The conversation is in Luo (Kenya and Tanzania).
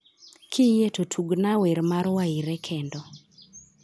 Kiyie to tugna wer mar Wyre kendo